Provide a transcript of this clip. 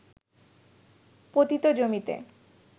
পতিত জমিতে